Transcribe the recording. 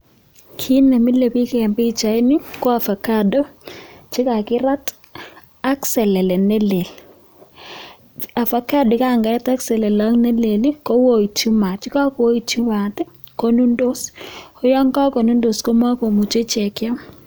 Kiit ne mole biich en pichait ni ko ovacado chekakirat ak selele nelel avocadoit ango selele nelel kootchi maat yakaa koyoitchi maat konundos koyo kakonundos komakomuchei keam.